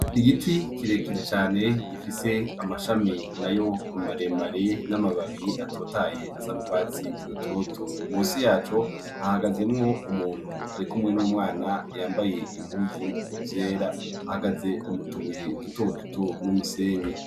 Igiti kirekire cyane gifis' amashami na yo maremare n'amabab' atotay' asa n' urwatsi rutoto, munsi yaco hahagazemw' umunt' afis' iking' ari kurihagarika neza yambay' impuzu zera, ahagaze mutubuye duto duto turimwo n'umusenyi , hari n'umuryang' ukozwe mu cuma has' ufatishijwe nibuye.